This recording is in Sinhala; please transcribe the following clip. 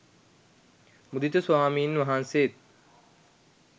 මුදිත ස්වාමින් වහන්සේත්